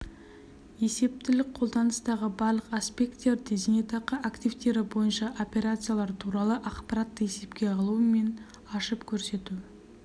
есептілік қолданыстағы барлық аспекттерде зейнетақы активтері бойынша операциялар туралы ақпаратты есепке алу мен ашып көрсету